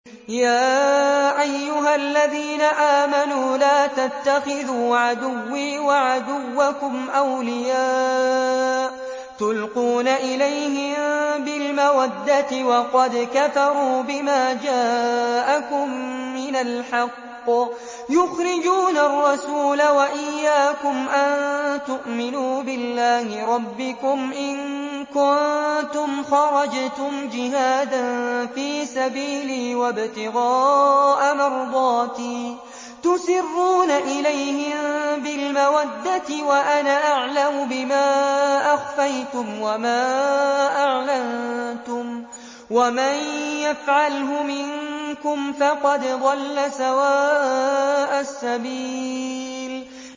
يَا أَيُّهَا الَّذِينَ آمَنُوا لَا تَتَّخِذُوا عَدُوِّي وَعَدُوَّكُمْ أَوْلِيَاءَ تُلْقُونَ إِلَيْهِم بِالْمَوَدَّةِ وَقَدْ كَفَرُوا بِمَا جَاءَكُم مِّنَ الْحَقِّ يُخْرِجُونَ الرَّسُولَ وَإِيَّاكُمْ ۙ أَن تُؤْمِنُوا بِاللَّهِ رَبِّكُمْ إِن كُنتُمْ خَرَجْتُمْ جِهَادًا فِي سَبِيلِي وَابْتِغَاءَ مَرْضَاتِي ۚ تُسِرُّونَ إِلَيْهِم بِالْمَوَدَّةِ وَأَنَا أَعْلَمُ بِمَا أَخْفَيْتُمْ وَمَا أَعْلَنتُمْ ۚ وَمَن يَفْعَلْهُ مِنكُمْ فَقَدْ ضَلَّ سَوَاءَ السَّبِيلِ